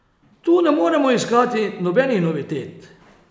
Tu ne moremo iskati nobenih novitet.